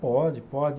Pode, pode.